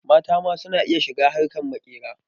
Mata ma su na iya shiga harkar maƙera.